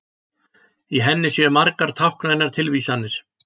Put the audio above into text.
Í henni séu margar táknrænar tilvísanir